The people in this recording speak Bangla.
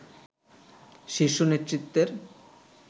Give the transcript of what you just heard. শীর্ষ নেতৃত্বের